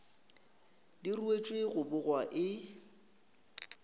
di ruetšwe go bogwa e